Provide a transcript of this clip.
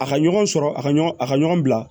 A ka ɲɔgɔn sɔrɔ a ka ɲɔgɔn a ka ɲɔgɔn bila